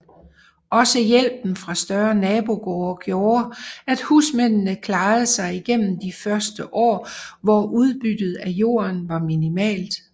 Også hjælpen fra større nabogårde gjorde at husmændene klarede sig igennem de førte år hvor udbyttet af jorden var minimalt